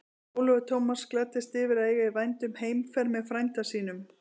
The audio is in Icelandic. Ólafur Tómasson gladdist yfir að eiga í vændum heimferð með frænda sínum.